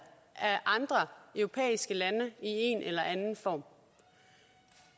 af andre europæiske lande i en eller anden form